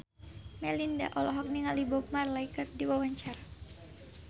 Melinda olohok ningali Bob Marley keur diwawancara